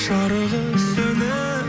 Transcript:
жарығы сөніп